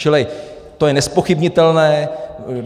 Čili to je nezpochybnitelné.